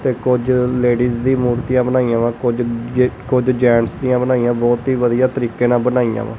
ਤੇ ਕੁਝ ਲੇਡੀਜ਼ ਦੀ ਮੂਰਤੀਆਂ ਬਣਾਈਆਂ ਵਾਂ ਕੁਝ ਜੇ ਕੁਝ ਜੇਂਟਸ ਦੀਆਂ ਬਣਾਈਆਂ ਬੋਹੁਤ ਹੀ ਵਧੀਆ ਤਰੀਕੇ ਨਾਲ ਬਣਾਈਆਂ ਵਾਂ।